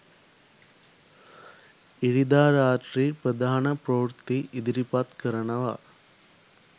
ඉරිදා රාත්‍රි ප්‍රධාන ප්‍රවෘත්ති ඉදිරිපත් කරනවා